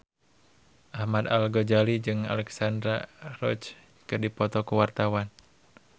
Ahmad Al-Ghazali jeung Alexandra Roach keur dipoto ku wartawan